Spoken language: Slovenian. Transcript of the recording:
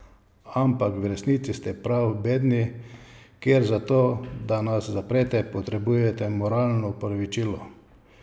Ampak v resnici ste prav bedni, ker za to, da nas zaprete, potrebujete moralno opravičilo.